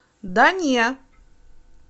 да не